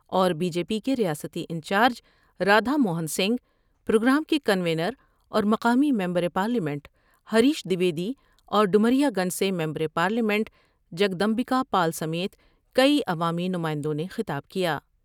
اور B J P کے ریاستی انچارج رادھا موہن سنگھ ، پروگرام کے کنوینر اور مقامی ممبر پارلیمنٹ ہریش دیویدی اور ڈومریا گنج سے member parliament Jagdambika Pal سمیت کئی عوامی نمائندوں نے خطاب کیا ۔